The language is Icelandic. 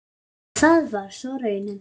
Og það var svo raunin.